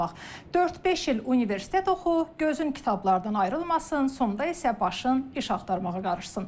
Dörd-beş il universitet oxu, gözün kitablardan ayrılmasın, sonda isə başın iş axtarmağa qarışsın.